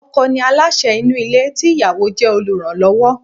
Ọkọ̀ ni aláṣẹ inú ilé tí ìyàwó jẹ́ oluranlowo.